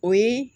O ye